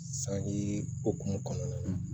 Sanji hokumu kɔnɔna na